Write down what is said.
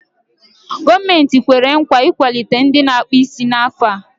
Gọọmenti kwere nkwa ị ikwalite ndị na-akpụ isí n'afọ a.